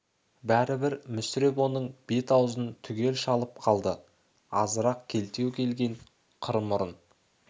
бәрібір мүсіреп оның бет-аузын түгел шалып қалды азырақ келтелеу келген қыр мұрын